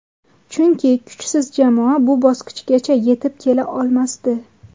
Chunki kuchsiz jamoa bu bosqichgacha yetib kela olmasdi.